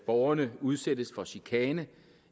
borgerne udsættes for chikane